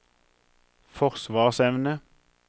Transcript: forsvarsevne